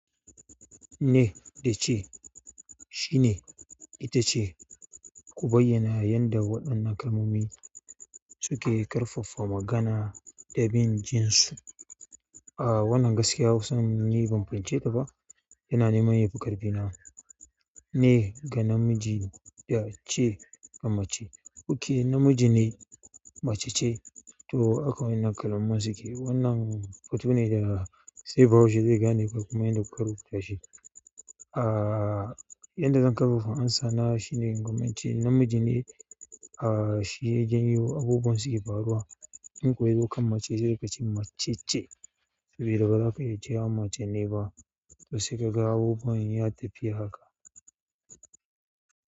Ne da ce shine ita ce, ku bayyana yadda waɗannan kalmomi suke ƙarfafa magana da bin jinsu. A wannan gaskiya hausan nan ni ban fahimce ta ba, yana neman yafi ƙarfi na, ni ga namiji ya ce ga mace. Ok namiji ne mace ce to akwai waɗannan kalmomin suke wannan hoto ne da sai bahaushe zai gane kalmomin da kuka rubuta shi. A yadda zan ƙarfafa amsana shine in kumance namiji ne a shi ya janyo abubuwan suke faruwa. In kuwa ayukan mace sai kace macece baza ka iya cewa mace ne ba. To sai ka ga abubuwan ya tafi haka.